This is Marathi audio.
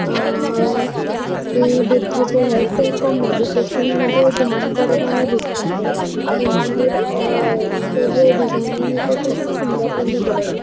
अ ते बुद्ध जे आहेत ते को मेडिटेशन मध्ये ध्यान करुन आणि दिसतातये. हे मंदिरच च जे डिझाईन आहे ते त्यांनी खूप सुंदर केलेले आहे.